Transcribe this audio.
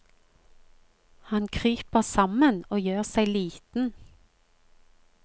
Han kryper sammen og gjør seg liten.